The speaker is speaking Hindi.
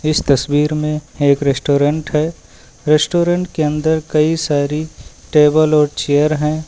इस तस्वीर में एक रेस्टोरेंट है रेस्टोरेंट के अंदर कई सारी टेबल और चेयर हैं।